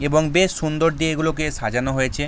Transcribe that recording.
এবং বেশ সুন্দর দিয়ে এগুলোকে সাজানো হয়েছে।